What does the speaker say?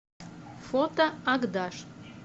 фото агдаш